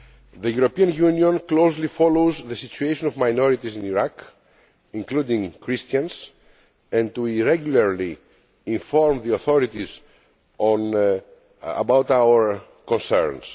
The European Union closely follows the situation of minorities in Iraq, including Christians, and regularly informs the authorities about our concerns.